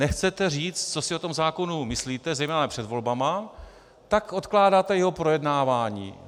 Nechcete říct, co si o tom zákonu myslíte, zejména před volbami, tak odkládáte jeho projednávání.